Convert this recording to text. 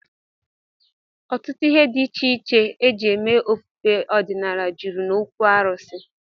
Ọtụtụ ihe dị iche iche e ji eme ofufe ọdịnala jụrụ n'okwu arụsị